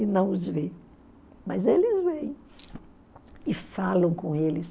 e não os vê, mas eles veem e falam com eles.